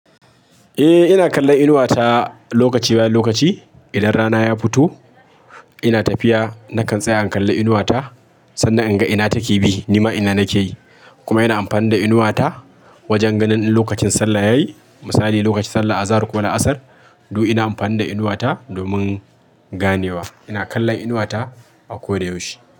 Eh ina kallon inuwa ta lokaci bayan lokaci. Idan rana ya fito, ina tafiya nakan tsaya in kalla inuwa ta, sannan in ga ina take bi, nima ina nake yi. Kuma ina amfani da inuwa ta, wajen ganin in lokacin sallah yayi. Misali, lokacin sallar Azahar ko ala'asar, duk ina amfani da inuwa ta, domin ganewa. Ina kallon inuwa ta, a koda yaushe.